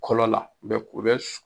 Kɔlɔ la u bɛ u bɛ su